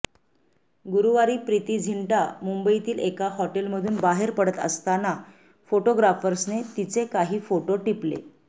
गुरूवारी प्रीती झिंटा मुंबईतील एका हॉटेलमधून बाहेर पडत असताना फोटोग्राफर्सने तिचे काही फोटो टिपले